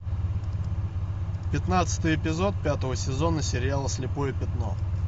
пятнадцатый эпизод пятого сезона сериала слепое пятно